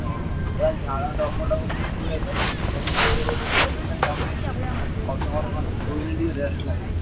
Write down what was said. ହଁ ପୁରା ଝାଳ ଡକ ଡକ ପରି ହୁଏତ ସେଠି ଗଲି ଦେଇ ଘରେ ଗୋଟେ table fan ଲଗେଇଦେଲି ଅଧଘଣ୍ଟେ ଖଣ୍ଡେ ଶୋଇଲି ଟିକେ rest ଲାଗିଲା।